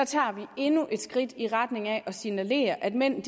tager vi endnu et skridt i retning af at signalere at mænd